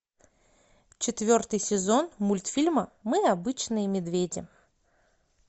четвертый сезон мультфильма мы обычные медведи